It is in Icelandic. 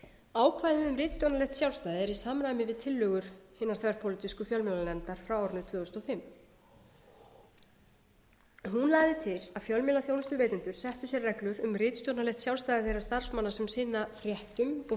ákvæðið um ritstjórnarlegt sjálfstæði er í samræmi við tillögur hinnar þverpólitísku fjölmiðlanefndar frá árinu tvö þúsund og fimm hún lagði til að fjölmiðlaþjónustuveitendur settu fyrir sér reglur um ritstjórnarlegt sjálfstæði þeirra starfsmanna sem sinna fréttum og